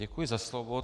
Děkuji za slovo.